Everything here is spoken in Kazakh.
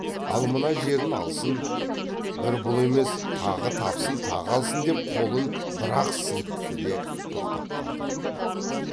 ал мына жерін алсын бір бұл емес тағы тапсын тағы алсын деп қолын бір ақ сілікті де тоқтап қалды